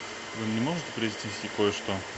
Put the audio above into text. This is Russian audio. вы мне можете принести кое что